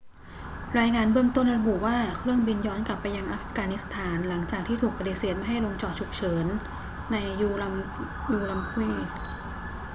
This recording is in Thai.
รายงานเบื้องต้นระบุว่าเครื่องบินย้อนกลับไปยังอัฟกานิสถานหลังจากที่ถูกปฏิเสธไม่ให้ลงจอดฉุกเฉินใน ürümqi